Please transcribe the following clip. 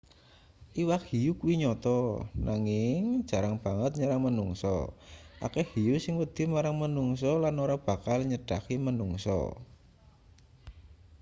iwak hiu kuwi nyata nanging jarang banget nyerang manungsa akeh hiu sing wedi marang manungsa lan ora bakal nyedhaki manungsa